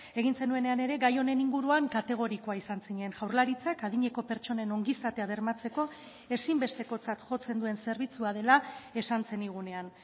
egin zenuenean ere gai honen inguruan kategorikoa izan zinen jaurlaritzak adineko pertsonen ongizatea bermatzeko ezinbestekotzat jotzen duen zerbitzua dela esan zenigunean